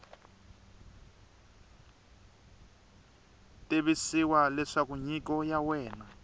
tivisiwa leswaku nyiko ya wena